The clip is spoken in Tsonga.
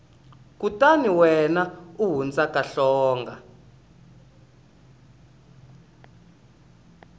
kutani wena u hundzuka hlonga